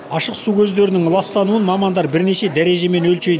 ашық су көздерінің ластануын мамандар бірнеше дәрежемен өлшейді